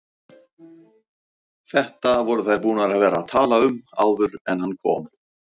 Þetta voru þær búnar að vera að tala um áður en hann kom!